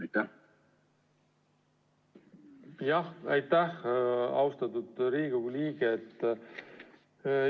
Aitäh, austatud Riigikogu liige!